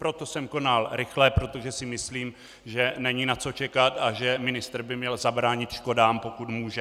Proto jsem konal rychle, protože si myslím, že není na co čekat a že ministr by měl zabránit škodám, pokud může.